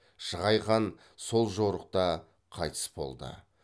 шығай хан сол жорықта қайтыс болды